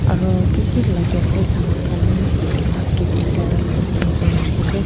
aru kiki lagai ase saman khan vi basket ekta line kurina rakhisey.